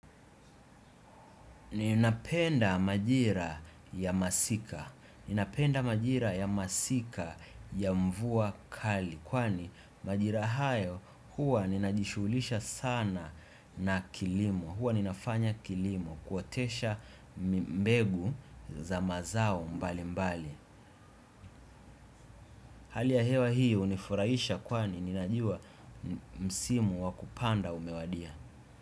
Ninapenda majira ya masika. Ninapenda majira ya masika ya mvua kali kwani majira hayo huwa ninajishughulisha sana na kilimo huwa ninafanya kilimo kuotesha mbegu za mazao mbali mbali. Hali ya hewa hii hunifurahisha kwani ninajuwa msimu wakupanda umewadia.